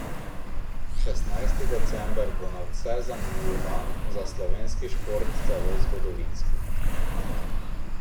Šestnajsti december bo nadvse zanimiv dan, za slovenski šport celo zgodovinski.